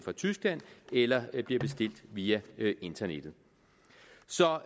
tyskland eller bliver bestilt via internettet så